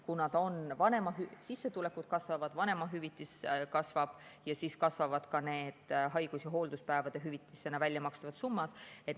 Kuna sissetulekud kasvavad, vanemahüvitis kasvab, siis kasvavad ka need haigus‑ ja hoolduspäevade hüvitisena väljamakstavad summad.